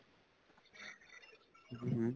ਹਮ